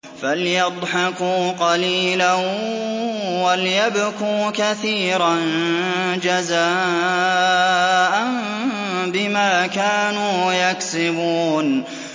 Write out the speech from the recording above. فَلْيَضْحَكُوا قَلِيلًا وَلْيَبْكُوا كَثِيرًا جَزَاءً بِمَا كَانُوا يَكْسِبُونَ